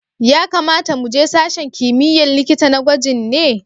Ya kamata mu je sashen kimiyya'n likita na gwajin ne?